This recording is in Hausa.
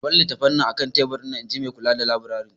Ka bar littattafan a kan teburinka, in ji Maikula da laburare.